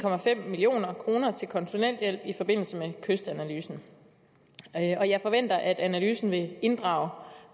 million kroner til konsulenthjælp i forbindelse med kystanalysen og jeg forventer at analysen vil inddrage